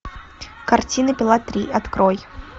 картина пила три открой